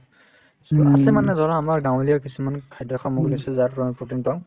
আগতে মানে ধৰা আমাৰ গাঁৱলীয়া কিছুমান খাদ্য সামগ্ৰী আছিল যাৰ পৰা আমি protein পাওঁ